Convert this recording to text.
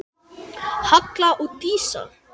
Halli og Lísa.